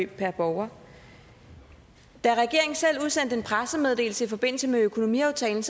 per borger da regeringen selv udsendte en pressemeddelelse i forbindelse med økonomiaftalen